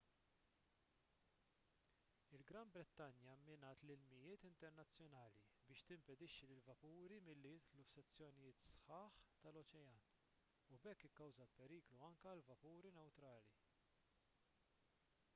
il-gran brittanja mminat l-ilmijiet internazzjonali biex timpedixxi lill-vapuri milli jidħlu f'sezzjonijiet sħaħ tal-oċean u b'hekk ikkawżat periklu anke għal vapuri newtrali